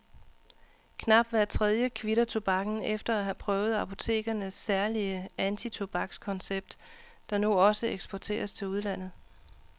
Knap hver tredje kvitter tobakken efter at have prøvet apotekernes særlige antitobakskoncept, der nu også eksporteres til udlandet.